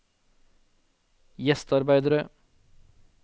gjestearbeidere